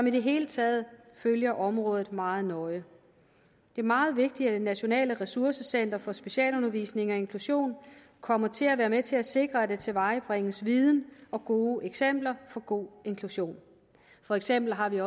i det hele taget følger området meget nøje det er meget vigtigt at det nationale ressourcecenter for specialundervisning og inklusion kommer til at være med til at sikre at der tilvejebringes viden og gode eksempler på god inklusion for eksempel har vi